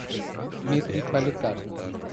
дмитрий поликашин